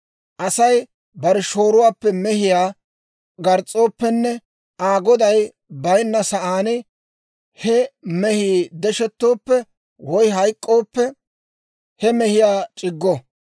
«Asay bare shooruwaappe mehiyaa gars's'ooppenne Aa goday baynna sa'aan he mehii deshettooppe woy hayk'k'ooppe, he mehiyaa c'iggo.